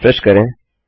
refresh करें